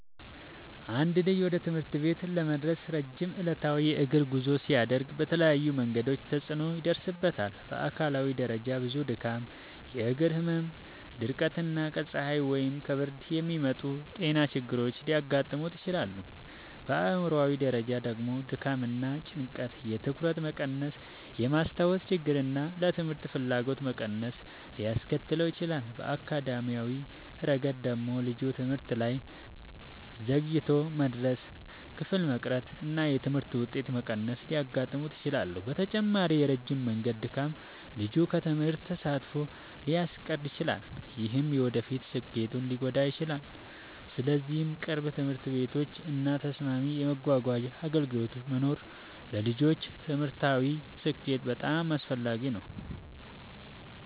አንድ ልጅ ወደ ትምህርት ቤት ለመድረስ ረጅም ዕለታዊ የእግር ጉዞ ሲያደርግ በተለያዩ መንገዶች ተጽዕኖ ይደርስበታል። በአካላዊ ደረጃ ብዙ ድካም፣ የእግር ህመም፣ ድርቀት እና ከፀሐይ ወይም ከብርድ የሚመጡ ጤና ችግሮች ሊያጋጥሙት ይችላሉ። በአእምሯዊ ደረጃ ደግሞ ድካም እና ጭንቀት የትኩረት መቀነስን፣ የማስታወስ ችግርን እና ለትምህርት ፍላጎት መቀነስን ሊያስከትል ይችላል። በአካዳሚያዊ ረገድ ደግሞ ልጁ ትምህርት ላይ ዘግይቶ መድረስ፣ ክፍል መቅረት እና የትምህርት ውጤት መቀነስ ሊያጋጥሙት ይችላሉ። በተጨማሪም የረጅም መንገድ ድካም ልጁን ከትምህርት ተሳትፎ ሊያስቀር ይችላል፣ ይህም የወደፊት ስኬቱን ሊጎዳ ይችላል። ስለዚህ ቅርብ ትምህርት ቤቶች እና ተስማሚ የመጓጓዣ አገልግሎቶች መኖር ለልጆች ትምህርታዊ ስኬት በጣም አስፈላጊ ነው።